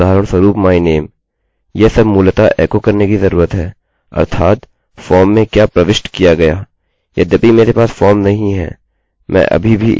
यह सब मूलतः एको करने की जरूरत है अर्थात फॉर्म में क्या प्रविष्ट किया गया यद्यपि मेरे पास फॉर्म नहीं है मैं अभी भी इसकी नकल कर सकता हूँ